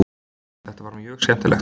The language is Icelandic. Það var mjög skemmtilegt.